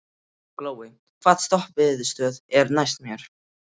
Glói, hvaða stoppistöð er næst mér?